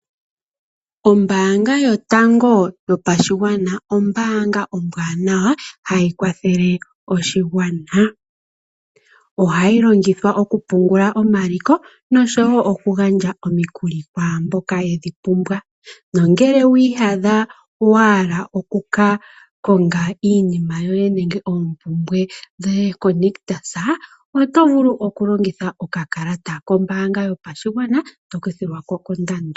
Ombaanga yotango yopashigwana, ombaanga ombwaanawa hayi kwathele oshigwana. Ohayi longithwa oku pungula omaliko noshowo oku gandja omikuli kwaamboka yedhi pumbwa, nongele wiiyadha wahala oku ka konga iinima yoye nenge oompumbwe dhoye koNictus, oto vulu oku longitha okakalata kombaanga yopashigwana to kuthilwako kondando.